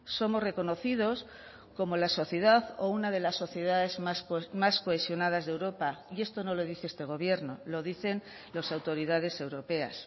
somos reconocidos como la sociedad o una de las sociedades más cohesionadas de europa y esto no lo dice este gobierno lo dicen las autoridades europeas